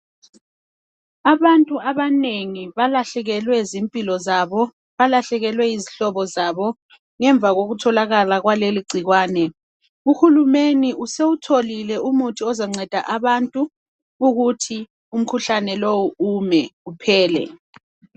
abantu abanengi balahlekelwe zimpilo zabo balahlekelwe yizihlobo zabo ngemva kokutholakala kwaleli gcikwane uhulumende usewutholile umuthi ozangceda abantu ukuthi umkhuhlane lo ume uphele